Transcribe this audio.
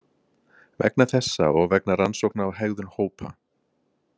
Vegna þessa og vegna rannsókna á hegðun hópa.